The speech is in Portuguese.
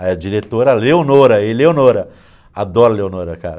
Aí a diretora, Leonora, e Leonora, adoro a Leonora, cara.